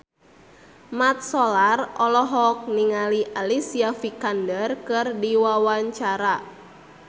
Mat Solar olohok ningali Alicia Vikander keur diwawancara